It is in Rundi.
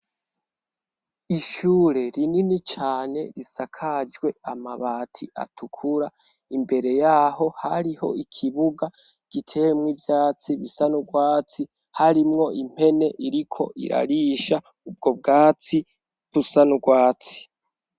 Ishure rinini cane risakajwe amabati atukura imbere yaho hariho ikibuga giteyemwo ivyatsi bisa n'ugwatsi harimwo impene iriko irarisha ubwo bwatsi busa n'ugwatsi.